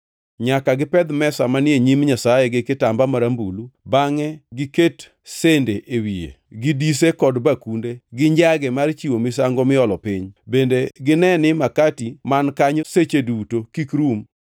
“Nyaka gipedh mesa manie Nyim Nyasaye gi kitamba marambulu, bangʼe giket sende e wiye, gi dise kod bakunde, gi njage mar chiwo misango miolo piny; bende gine ni makati man kanyo seche duto kik rum.